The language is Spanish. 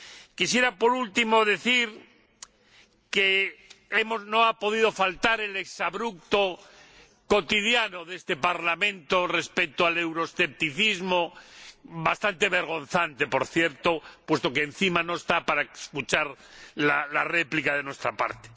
Quisiera, por último, decir que no ha podido faltar el exabrupto cotidiano en este Parlamento del euroescepticismo, bastante vergonzante por cierto, puesto que, encima, no está para escuchar la réplica de nuestra parte.